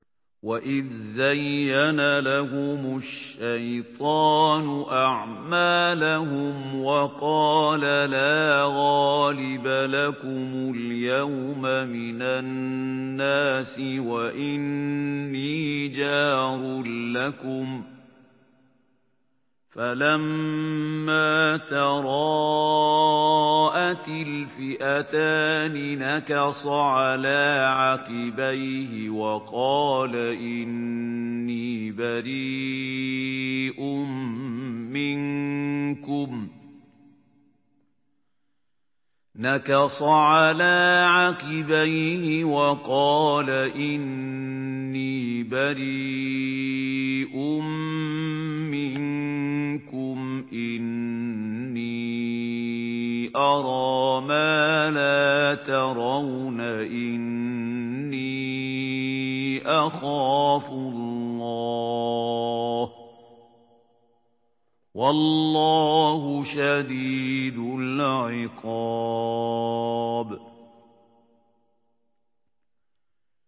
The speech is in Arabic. وَإِذْ زَيَّنَ لَهُمُ الشَّيْطَانُ أَعْمَالَهُمْ وَقَالَ لَا غَالِبَ لَكُمُ الْيَوْمَ مِنَ النَّاسِ وَإِنِّي جَارٌ لَّكُمْ ۖ فَلَمَّا تَرَاءَتِ الْفِئَتَانِ نَكَصَ عَلَىٰ عَقِبَيْهِ وَقَالَ إِنِّي بَرِيءٌ مِّنكُمْ إِنِّي أَرَىٰ مَا لَا تَرَوْنَ إِنِّي أَخَافُ اللَّهَ ۚ وَاللَّهُ شَدِيدُ الْعِقَابِ